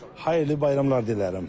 Xeyirli bayramlar dilərim.